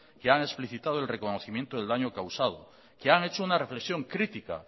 que han explicitado el reconocimiento del daño causado que han hecho una reflexión crítica